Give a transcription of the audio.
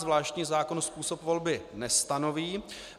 Zvláštní zákon způsob volby nestanoví.